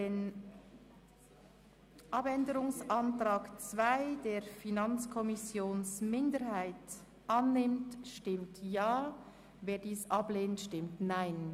Wer den Abänderungsantrag 2 der FiKo-Minderheit annehmen will, stimmt Ja, wer dies ablehnt, stimmt Nein.